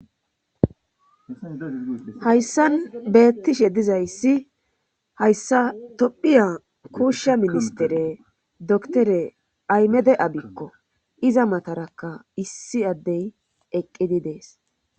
hayssan beettishe dizayssi hayssa tophiya kuushsha ministere doktore aymede abikko iza matarakka issi addey eqqidi dees